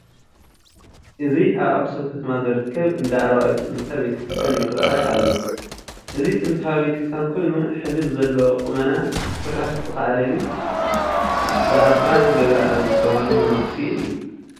እዚ ኣብ ኣኽሱም ከተማ ዝርከብ እንዳ ኣርባዕቱ እንስሳ ቤተ ክርስቲያን ይርአ ኣሎ፡፡ እዚ ጥንታዊ ቤተ ክርስቲያን ኮይኑ ሕዚ ብዘለዎ ቁመና ክስራሕ ዝኸኣለ ግን ብኣባ ገብረኣብ ዝበሃሉ መነኩሴ እዩ፡፡